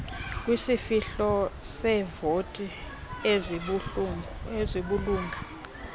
kwisihlo seevoti ezibulunga